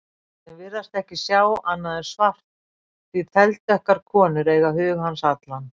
Sem virðast ekki sjá annað en svart, því þeldökkar konur eiga hug hans allan.